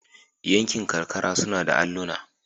Yankin karkara suna da alluna.